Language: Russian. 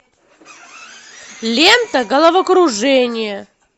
лента головокружение